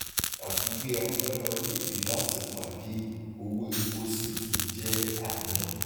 àfiwé agbára orílẹèdè láti pàdé owó epo ṣi tún jé àníyàn